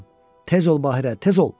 Tez ol, Bahirə, tez ol.